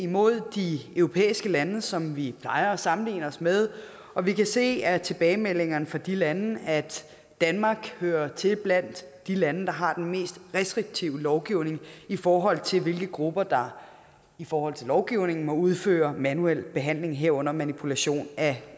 mod de europæiske lande som vi plejer at sammenligne os med og vi kan se af tilbagemeldingerne fra de lande at danmark hører til blandt de lande der har den mest restriktive lovgivning i forhold til hvilke grupper der i forhold til lovgivningen må udføre manuel behandling herunder manipulation af